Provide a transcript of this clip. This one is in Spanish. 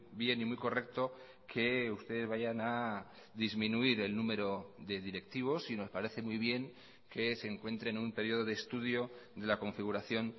bien y muy correcto que ustedes vayan a disminuir el número de directivos y nos parece muy bien que se encuentre en un periodo de estudio de la configuración